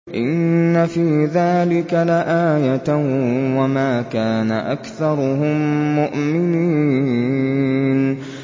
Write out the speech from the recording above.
إِنَّ فِي ذَٰلِكَ لَآيَةً ۖ وَمَا كَانَ أَكْثَرُهُم مُّؤْمِنِينَ